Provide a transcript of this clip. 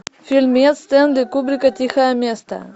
фильмец стэнли кубрика тихое место